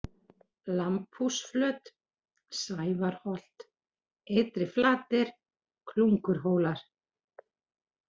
Lambhúsflöt, Sævarholt, Ytri-Flatir, Klungurhólar